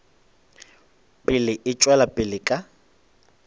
pele e tšwela pele ka